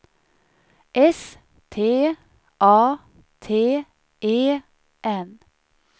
S T A T E N